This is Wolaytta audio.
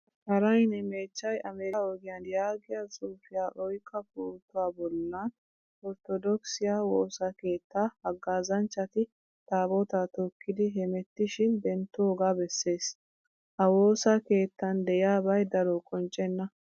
Kataraynne mechchay Amerikka ogiyaan yaagiyaa xuufiyaa oyqqa pootuwaa bollan orttodokisiyaa woosaa keettaa hagazzanchchati taabota tookidi hemettishin denttooga besees. Ha woosaa keettaan de'iyabay daro qonccenna.